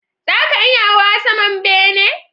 Zaka iya hawa saman bene?